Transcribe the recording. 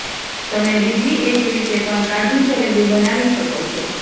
તમે બીજી એક રીતે પણ કાજુ જલેબી બનાવી શકો છો